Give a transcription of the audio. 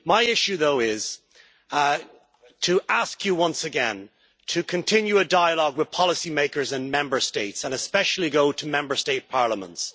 My issue is to ask you once again to continue a dialogue with policymakers and Member States, and especially go to Member State parliaments.